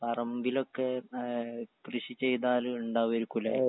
പറമ്പിലൊക്കെ ഏ കൃഷി ചെയ്താല്ണ്ടാവേയിരിക്കുലേ.